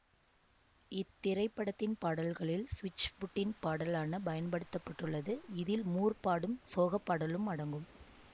இத்திரைப்படத்தின் பாடல்களில் ஸ்விட்ச்ஃபுட்டின் பாடலான பயன்படுத்த பட்டுள்ளது இதில் மூர் பாடும் சோகப் பாடலும் அடங்கும்